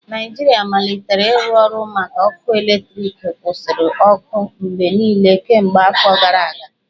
Naijiria malitere ịrụ ọrụ maka ọkụ eletriki kwusiri ọkụ mgbe niile kemgbe afọ gara aga